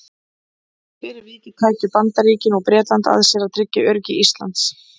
Fyrir vikið tækju Bandaríkin og Bretland að sér að tryggja öryggi Íslands.